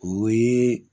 O ye